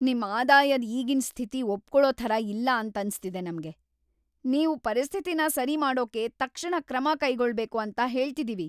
ನಿಮ್ ಆದಾಯದ್ ಈಗಿನ್ ಸ್ಥಿತಿ ಒಪ್ಕೊಳೊ ಥರ ಇಲ್ಲ ಅಂತನ್ಸಿದೆ ನಮ್ಗೆ, ನೀವು ಪರಿಸ್ಥಿತಿನ ಸರಿ ಮಾಡೋಕೆ ತಕ್ಷಣ‌ ಕ್ರಮ ಕೈಗೊಳ್ಬೇಕು ಅಂತ ಹೇಳ್ತಿದೀವಿ.